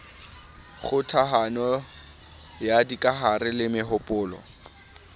kgokahano ya dikahare le mehopolo